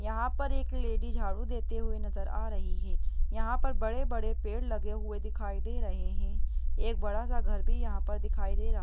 यहाँ पर एक लेडी झाड़ू देते हुए नजर आ रही है यहाँ पर बड़े बड़े पेड़ लगे हुए दिखाई दे रहे है एक बड़ा सा घर भी यहाँ पर दिखाई दे रहा है।